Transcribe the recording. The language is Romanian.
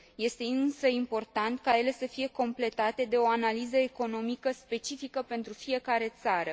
Este însă important ca ele să fie completate de o analiză economică specifică pentru fiecare țară.